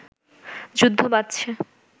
যুদ্ধ বাঁধছে